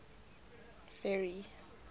ferry